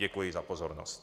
Děkuji za pozornost.